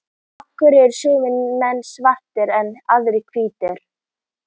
af hverju eru sumir menn svartir en aðrir hvítir